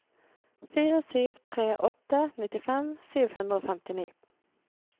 fire sju tre åtte nittifem sju hundre og femtini